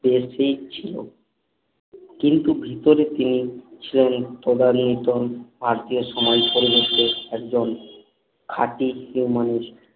ছিলো কিন্তু ভিতরে তিনি ছিলেন এক তদানীতন আর্তিও সময়ে পরিবর্তে একজন খাটি হিরে মানুষ